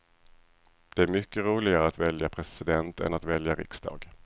Det är mycket roligare att välja president än att välja riksdag.